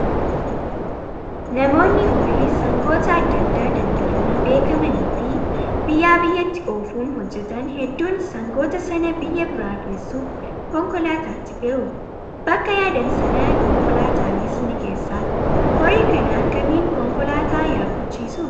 Namoonni horii sangoota adda addaa daldaluun beekamanii fi biyyaa biyyatti oofuun hojjatan hedduun sangoota sana biyya biraa geessuuf konkolaataatti fe'u. Bakka yaadan sana konkolaataanis ni geessaaf. Horii kana akkamiin konkolaataa yaabbachiisuu?